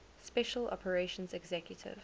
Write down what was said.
special operations executive